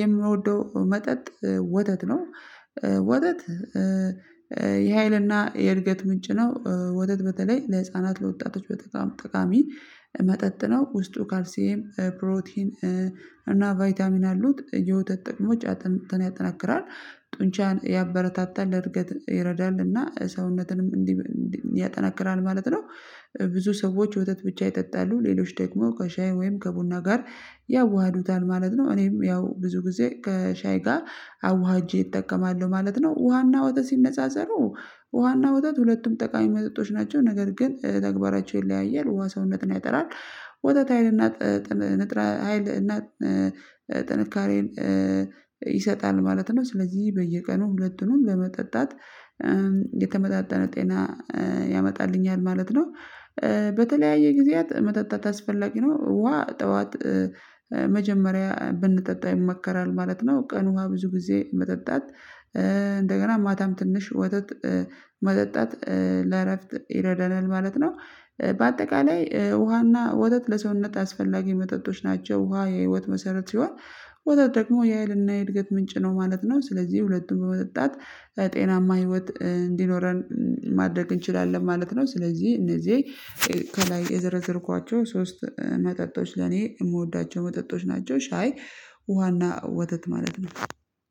የምንወደው መጠጥ ወተት ነው። ወተት የሃይልና የእድገት ምንጭ ነው። ወተት በተለይ ለህፃናት ለወጣቶች በጠቃሚ መጠጥ ነው። ውስጡ ካርሴም ፕሮቲን እና ቫይታሚን አሉት የወተት ጥቅሞች እጥንትን ያጠናክራል ጡንቻን ያበረታታል ለእድገት ይረዳልና ሰውነትንም እንዲህ ያጠናክራል ማለት ነው። ብዙ ሰዎች ወተት ብቻ ይጠጣሉ ሌሎች ደግሞ ከሻይ ወይም ከቡና ጋር ያዋህዱታል ማለት ነው። እኔም ያው ብዙ ጊዜ ከሻይ ጋር አዋህጄ እጠቀማለሁ ማለት ነው። ውሃና ወተሲ ሲነጻጸሩ ውሃና ወተሲ ሁለቱም ጠቃሚ መጠጦች ናቸው። ነገር ግን ተግባራቸውን ይለያያል ውሃ ሰውነትን ያጠራል። ወታት ኃይልና ንጥረ ሀይል እና ጥንካሬን ይሰጣል ማለት ነው። ስለዚህ በየቀኑ ሁለቱንም በመጠጣት የተመጣጠነ ጤና ያመጣልኛል ማለት ነው። በተለያየ ጊዜያት መጠጣት አስፈላጊ ነው ውሃ ጠዋት መጀመሪያ ብንጠጣ ይመከራል ማለት ነው። ቀኑ ውሃ ብዙ ጊዜ መጠጣት እንደገና ማታም ትንሽ ወተት መጠጣት ለእረፍት ይረዳልና ማለት ነው። በአጠቃላይ ውሃና ወተት ለሰውነት አስፈላጊ መጠጦች ናቸው። ውሃ የህይወት መሰረት ሲሆን ወተት ደግሞ የሃይልና የእድገት ምንጭ ነው ማለት ነው። ስለዚህ ሁለቱም በመጠጣት ጤናማ ህይወት እንዲኖረን ማድረግ እንችላለን ማለት ነው። ስለዚህ እነዚህ ከላይ የዘረዘርኳቸው ሶስት መጠጦች ለኔ የምወዳቸው መጠጦች ናቸው ሻይ ውሃና ወተት ማለት ነው።